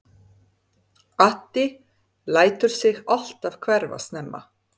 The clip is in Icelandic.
Addi lætur sig alltaf hverfa snemma.